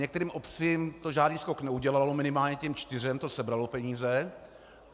Některým obcím to žádný skok neudělalo, minimálně těm čtyřem to sebralo peníze.